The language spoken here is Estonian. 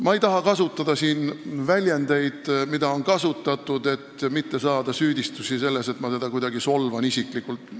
Ma ei taha siin kasutada väljendeid, mida on kasutatud, et mitte saada süüdistusi selles, et ma teda kuidagi isiklikult solvan.